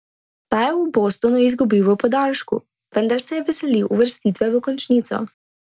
Ta je v Bostonu izgubil v podaljšku, vendar se veselil uvrstitve v končnico.